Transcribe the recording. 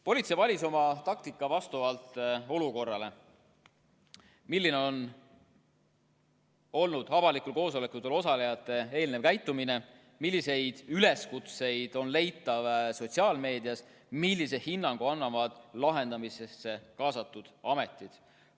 Politsei valis oma taktika vastavalt sellele, milline on olnud avalikel koosolekutel osalejate varasem käitumine, milliseid üleskutseid on leida sotsiaalmeedias, millise hinnangu annavad olukorra lahendamisse kaasatud ametid.